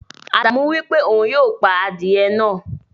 Ádámù wípé òun yóò pà adiye náà.